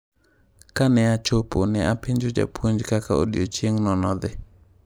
Ka ne achopo ne apenjo japuonj kaka odiechieng’no nodhi.